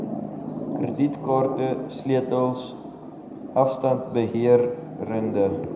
kredietkaarte sleutels afstandbeheereenhede